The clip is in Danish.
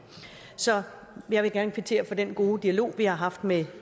så jeg vil gerne kvittere for den gode dialog vi har haft med